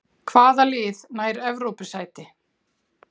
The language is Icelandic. Hvaða lið nær Evrópusæti?